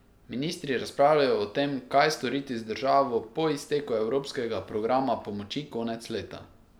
Ministri razpravljajo o tem, kaj storiti z državo po izteku evropskega programa pomoči konec leta.